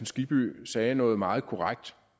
skibby sagde noget meget korrekt